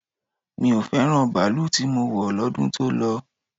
Mi ò fẹ́ràn baalú tí mo wọ̀ lọ́dún tó lọ.